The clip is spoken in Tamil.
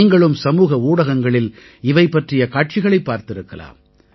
நீங்களும் சமூக ஊடகங்களில் இவை பற்றிய காட்சிகளைப் பார்த்திருக்கலாம்